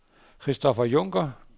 Christopher Junker